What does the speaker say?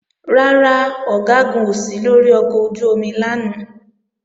Rárá, Ọ̀gágun ò sí lórí ọkọ̀ ojú-omi lánàá